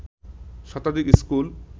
শতাধিক স্কুল